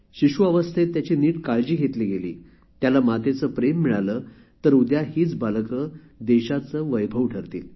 शिशु अवस्थेत त्याची नीट काळजी घेतली गेली त्याला मातेचे प्रेम मिळाले तर उद्या हीच बालके देशाचे वैभव ठरतील